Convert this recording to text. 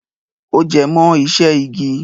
Ó jẹ mọ iṣẹ́ igi.